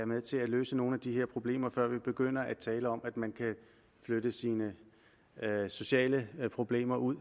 med til at løse nogle af de her problemer før vi begynder at tale om at man kan flytte sine sociale problemer ud